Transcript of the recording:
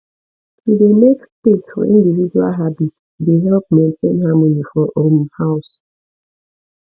to dey make space for individual habits dey help maintain harmony for um house